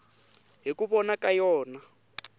hi ku vona ka yona